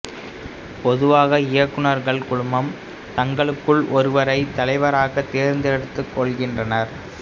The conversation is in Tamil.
பொதுவாக இயக்குநர்கள் குழுமம் தங்களுக்குள் ஒருவரை தலைவராகத் தேர்ந்தெடுத்துக் கொள்கின்றனர்